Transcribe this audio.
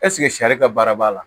sariya baara b'a la